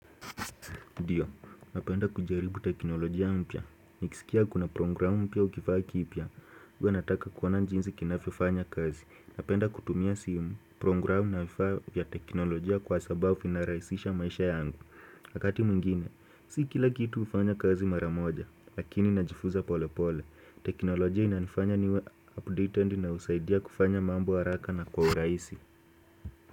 Ndio, napenda kujaribu teknolojia mpya. Nikisikia kuna program mpya au kifaa kipya. Huwa nataka kuona jinsi kinavyofanya kazi. Napenda kutumia simu, program na vifaa vya teknolojia kwa sababu vinarahisisha maisha yangu. Wakati mwingine, si kila kitu hufanya kazi mara moja, lakini najifunza pole pole. Teknolojia inanifanya niwe updated na husaidia kufanya mambo haraka na kwa urahisi.